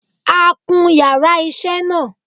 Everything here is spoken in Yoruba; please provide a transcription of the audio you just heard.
A kun yàrá isé náà